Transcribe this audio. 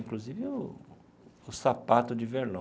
Inclusive o o sapato de verlon.